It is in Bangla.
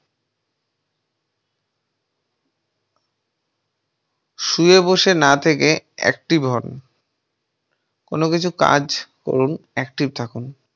শুয়ে বসে না থেকেই active হন কোনো কিছু কাজ করুন active থাকুন।